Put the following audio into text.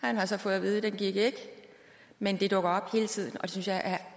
han har så fået at vide at den gik ikke men det dukker op hele tiden og det synes jeg er